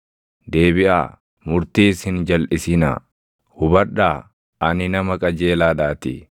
Deebiʼaa; murtiis hin jalʼisinaa; hubadhaa; ani nama qajeelaadhaatii.